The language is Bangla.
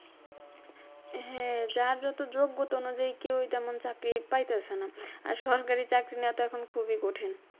হ্যাঁ যার যত যোগ্যতা অনুযায়ী কেউই তেমন চাকরি পাইতাছে না। আর সরকারি চাকরি নেওয়া তো এখন খুবই কঠিন।